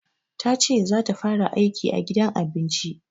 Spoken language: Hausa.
Tace za ta fara aiki a gidan abinci.